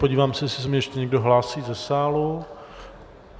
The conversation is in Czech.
Podívám se, jestli se mně ještě někdo hlásí ze sálu.